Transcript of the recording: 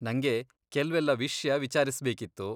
ನಂಗೆ ಕೆಲ್ವೆಲ್ಲ ವಿಷ್ಯ ವಿಚಾರಿಸ್ಬೇಕಿತ್ತು.